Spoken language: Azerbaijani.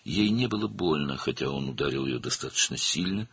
Ona ağrımadı, baxmayaraq ki, o, onu kifayət qədər güclü vurmuşdu.